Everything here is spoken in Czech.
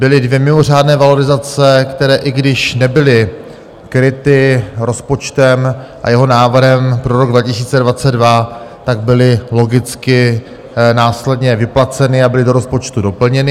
Byly dvě mimořádné valorizace, které, i když nebyly kryty rozpočtem a jeho návrhem pro rok 2022, tak byly logicky následně vyplaceny a byly do rozpočtu doplněny.